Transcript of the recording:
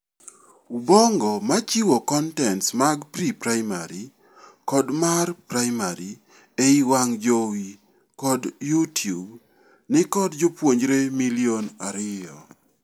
Ubongo machiwo kontents mag pre-primary kod mar primaryei wang' jowi kod You tube, ni kod jopuonjre milion ariyo.